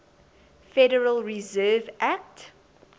federal reserve act